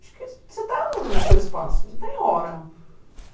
Acho que você está no no teu espaço, não tem hora.